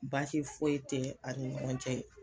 Baasi foyi tɛ ani ɲɔgɔn cɛ.